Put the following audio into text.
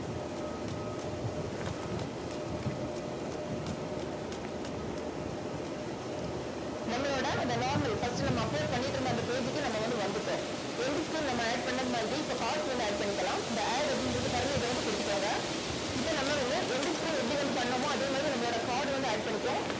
நம்மளோட இந்த normal first நம்ம upload பண்ணிட்டு இருந்த அந்த page க்கு நம்ம வந்து வந்துட்டோம் end screen நம்ம add பண்ணது மாதிரியே இப்ப cards வந்து add பண்ணிக்கலாம். இந்த add அப்படிங்கிறது பாருங்க. இதை வந்து குடுத்துக்கோங்க இப்ப நம்ம வந்து எப்படி வந்து end screen எப்படி வந்து பண்ணோமோ அதே மாதிரி நம்மளோட card வந்து add பண்ணிக்கும்